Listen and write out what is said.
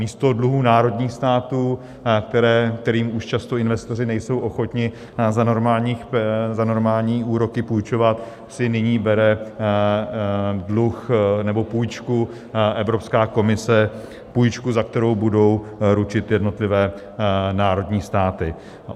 Místo dluhů národních států, kterým už často investoři nejsou ochotni za normální úroky půjčovat, si nyní bere dluh nebo půjčku Evropská komise, půjčku, za kterou budou ručit jednotlivé národní státy.